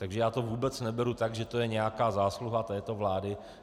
Takže já to vůbec neberu tak, že je to nějaká zásluha této vlády.